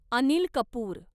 Anil Kapoor